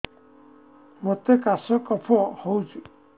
ମୋତେ କାଶ କଫ ହଉଚି